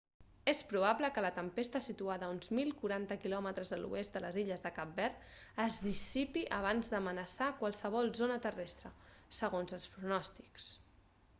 és probable que la tempesta situada a uns 1040 km a l'oest de les illes de cap verd es dissipi abans d'amenaçar qualsevol zona terrestre segons els pronòstics